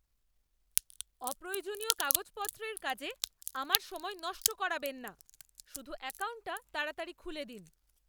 অপ্রয়োজনীয় কাগজপত্রের কাজে আমার সময় নষ্ট করাবেন না। শুধু অ্যাকাউন্টটা তাড়াতাড়ি খুলে দিন!